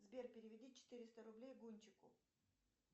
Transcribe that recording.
сбер переведи четыреста рублей гунчеку